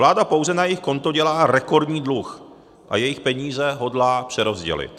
Vláda pouze na jejich konto dělá rekordní dluh a jejich peníze hodlá přerozdělit.